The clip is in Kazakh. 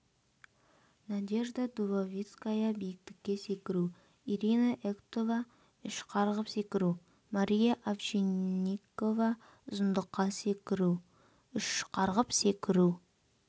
надежда дубовицкая биіктікке секіру ирина эктова үш қарғып секіру мария овчинникова ұзындыққа секіру үш қарғып секіру